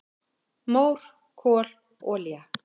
"""Mór, kol, olía"""